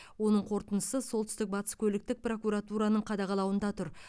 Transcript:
оның қорытындысы солтүстік батыс көліктік прокуратураның қадағалауында тұр